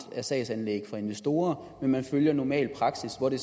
af sagsanlæg fra investorer og man følger normal praksis hvor det